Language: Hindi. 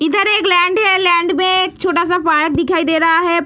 इधर एक लैंड है लैंड में एक छोटा सा पार्क दिखाई दे रहा है।